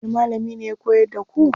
Wani malami ne ya koyar da ku?